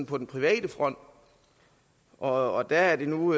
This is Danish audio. på den private front og der er det nu